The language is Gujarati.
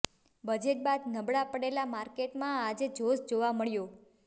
બજેટ બાદ નબળા પડેલા માર્કેટમાં આજે જોશ જોવા મળ્યો